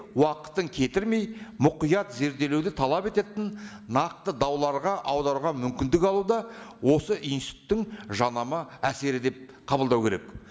уақытын кетірмей мұқият зерделеуді талап ететін нақты дауларға аударуға мүмкіндік алу да осы институттың жаңама әсері деп қабылдау керек